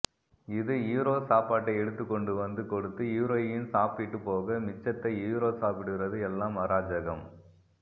இது ஹீரோ சாப்பாட்டை எடுத்துக் கொண்டு வந்து கொடுத்து ஹீரோயின் சாப்பிட்டு போக மிச்சத்த ஹீரோ சாப்பிடுறது எல்லாம் அராஜகம்